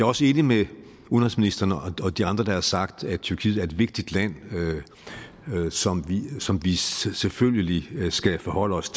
også enig med udenrigsministeren og de andre der har sagt at tyrkiet er et vigtigt land som som vi selvfølgelig skal forholde os